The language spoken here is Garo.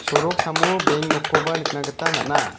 soroksamo beng nokkoba nikna gita man·a.